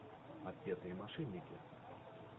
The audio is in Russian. отпетые мошенники